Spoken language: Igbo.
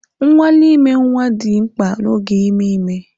Nnwale ime nwa dị mkpa n'oge ime ime